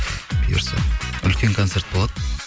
бұйырса үлкен концерт болады